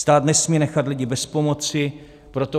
Stát nesmí nechat lidi bez pomoci, proto